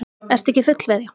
Ertu ekki fullveðja?